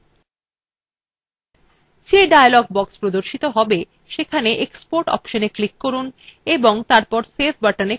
যে dialog box প্রদর্শিত save সেখানে export অপশনএ click করুন এবং তারপর save buttonএ click করুন